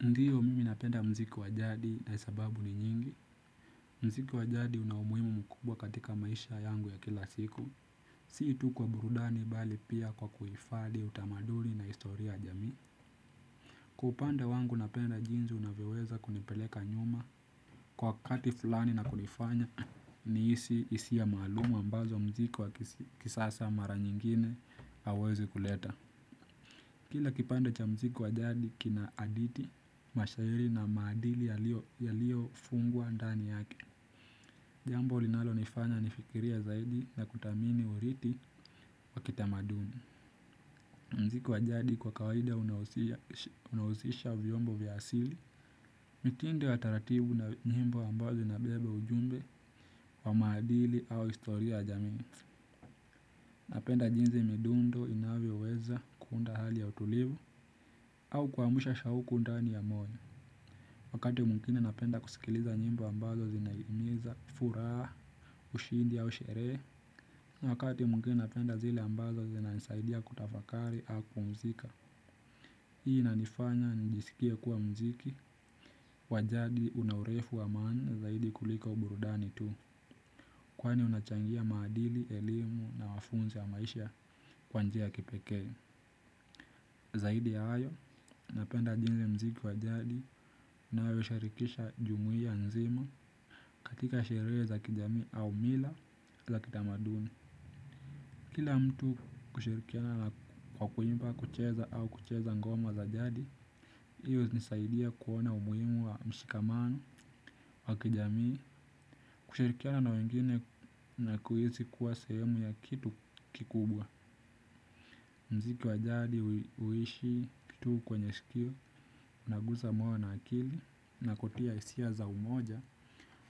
Ndiyo mimi napenda muziki wa jadi na sababu ni nyingi. Muziki wa jadi una umuhimu mkubwa katika maisha yangu ya kila siku. Si tu kwa burudani bali pia kwa kuhifadhi utamaduni na historia ya jamii. Kwa upande wangu napenda jinsi unavyoweza kunipeleka nyuma, kwa wakati fulani na kunifanya nihisi hisia maalum ambazo muziki wa kisasa mara nyingine hauwezi kuleta. Kila kipande cha muziki wa jadi kina hadithi, mashairi na maadili yaliyofungwa ndani yake. Jambo linalonifanya nifikirie zaidi na kuthamini urithi wa kitamaduni. Muziki wa jadi kwa kawaida unahusisha vyombo vya asili. Mitindo ya taratibu na nyimbo ambazo inabebe ujumbe wa maadili au historia ya jamii. Napenda jinsi midundo inavyoweza kuunda hali ya utulivu. Au kuamsha shauku ndani ya moyo. Wakati mwingine napenda kusikiliza nyimbo ambazo zinahimiza furaha, ushindi au sherehe. Wakati mwingine napenda zile ambazo zinanisaidia kutafakari au kupumzika. Hii inanifanya nijisikie kuwa muziki wa jadi una urefu wa maana zaidi kuliko burudani tu. Kwani unachangia maadili, elimu na mafunzo ya maisha kwa njia ya kipekee. Zaidi ya hayo napenda jinsi muziki wa jadi unayoshirikisha jumuia nzima katika sherehe za kijamii au mila za kitamaduni. Kila mtu kushirikiana na kwa kuimba, kucheza au kucheza ngoma za jadi. Hiyo hunisaidia kuona umuhimu wa mshikamano wa kijamii, kushirikiana na wengine na kuhisi kuwa sehemu ya kitu kikubwa. Muziki wa jadi huishi tu kwenye sikio, unagusa moyo na akili na kutia hisia za umoja,